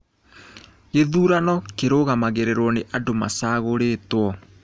Gĩthurano kĩrũgamagĩrĩrwo nĩ andũ macagũrĩtwo.